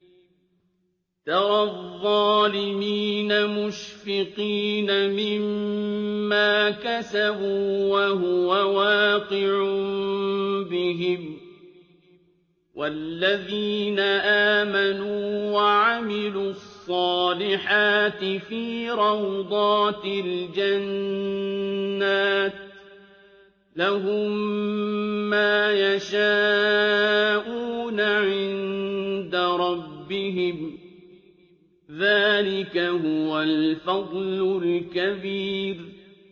تَرَى الظَّالِمِينَ مُشْفِقِينَ مِمَّا كَسَبُوا وَهُوَ وَاقِعٌ بِهِمْ ۗ وَالَّذِينَ آمَنُوا وَعَمِلُوا الصَّالِحَاتِ فِي رَوْضَاتِ الْجَنَّاتِ ۖ لَهُم مَّا يَشَاءُونَ عِندَ رَبِّهِمْ ۚ ذَٰلِكَ هُوَ الْفَضْلُ الْكَبِيرُ